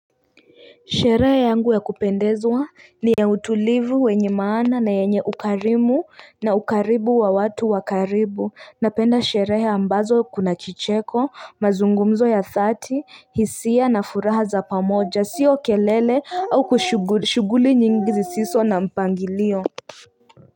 Sherehe yangu ya kupendezwa ni ya utulivu wenye maana na yenye ukarimu na ukaribu wa watu wa karibu napenda sherehe ambazo kuna kicheko mazungumzo ya dhati hisia na furaha za pamoja sio kelele au kushughuli nyingi zisizo na mpangilio.